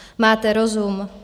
Máte rozum?